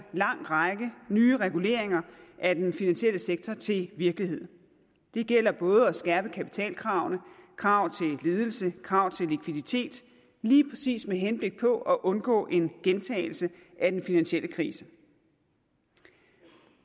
lang række nye reguleringer af den finansielle sektor til virkelighed det gælder både at skærpe kapitalkravene krav til ledelsen krav til likviditeten lige præcis med henblik på at undgå en gentagelse af den finansielle krise